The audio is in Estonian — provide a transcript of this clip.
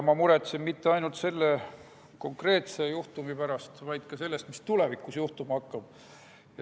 Ma muretsen mitte ainult selle konkreetse juhtumi pärast, vaid ka selle pärast, mis tulevikus juhtuma hakkab.